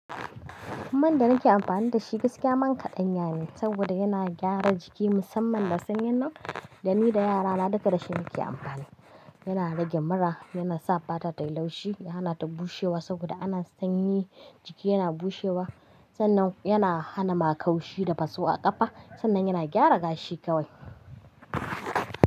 Man da nake amfani da shi gaskiya man kaɗanya ne saboda yana gyara jiki musamman lasanin nan. Da ni da yarana duka da shi muke amfani. Yana rage mura, yana sa fata tayi laushi, yana hana ta bushewa saboda ana sanyi jiki yana bushewa. Sannan yana hana makaushi da basu a ƙafa. Sannan yana gyara gashi kawai.